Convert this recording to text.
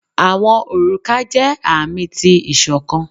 Awọn oruka jẹ aami ti iṣọkan